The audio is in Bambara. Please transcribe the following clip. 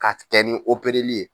K'a kɛ ni opereli ye.